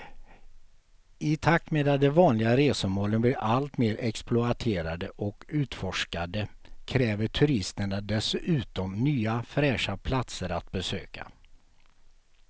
I takt med att de vanliga resmålen blir allt mer exploaterade och utforskade kräver turisterna dessutom nya fräscha platser att besöka.